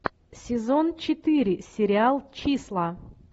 сезон четыре сериал числа